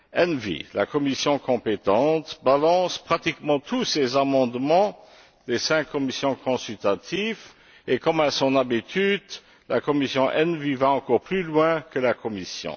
ENVI, la commission compétente, rejette pratiquement tous les amendements des cinq commissions consultatives et, comme à son habitude, la commission ENVI va encore plus loin que la Commission.